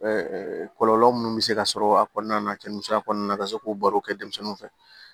kɔlɔlɔ minnu bɛ se ka sɔrɔ a kɔnɔna na cɛ musoya kɔnɔna na ka se k'o barow kɛ denmisɛnninw fɛ